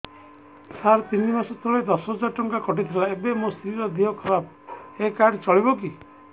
ସାର ତିନି ମାସ ତଳେ ଦଶ ହଜାର ଟଙ୍କା କଟି ଥିଲା ଏବେ ମୋ ସ୍ତ୍ରୀ ର ଦିହ ଖରାପ ଏ କାର୍ଡ ଚଳିବକି